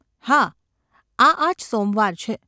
‘હા, આ આજ સોમવાર છે.